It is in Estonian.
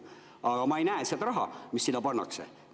Aga ma ei näe seda raha, mis sinna pannakse.